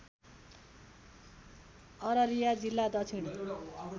अररिया जिल्ला दक्षिण